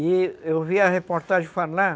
E eu vi a reportagem falar